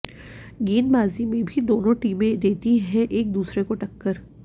गेंदबाजी में भी दोनों टीमें देती है एक दूसरे को टक्कर